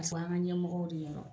an ka ɲɛmɔgɔw de yɛlɛ